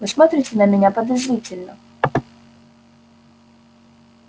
вы смотрите на меня подозрительно